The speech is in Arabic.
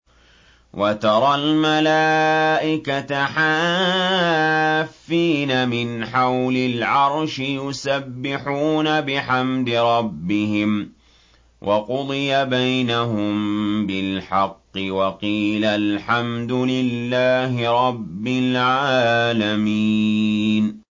وَتَرَى الْمَلَائِكَةَ حَافِّينَ مِنْ حَوْلِ الْعَرْشِ يُسَبِّحُونَ بِحَمْدِ رَبِّهِمْ ۖ وَقُضِيَ بَيْنَهُم بِالْحَقِّ وَقِيلَ الْحَمْدُ لِلَّهِ رَبِّ الْعَالَمِينَ